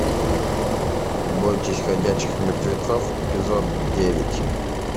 бойтесь ходячих мертвецов эпизод девять